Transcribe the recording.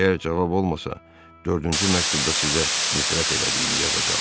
Əgər cavab olmasa, dördüncü məktubda sizə nifrət elədiyimi yazacam.